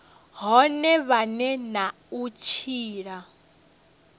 vhone vhane na u tshila